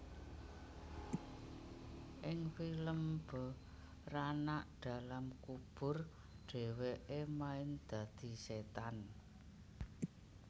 Ing film Beranak dalam Kubur dheweke main dadi setan